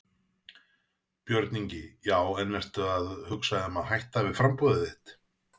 Björn Ingi: Já en ertu að hugsa um að hætta við framboðið þitt?